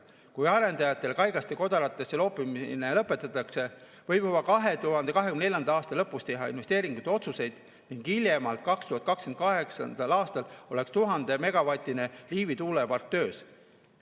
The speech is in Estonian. Kui arendajatele kaigaste kodaratesse loopimine lõpetatakse, võib juba 2024. aasta lõpus teha investeeringute otsused ning hiljemalt 2028. aastal oleks 1000‑megavatine Liivi tuulepark töös.